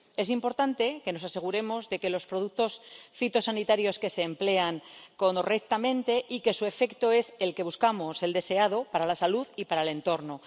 Es importante que nos aseguremos de que los productos fitosanitarios se emplean correctamente y de que su efecto es el que buscamos, el deseado para la salud y para el entorno.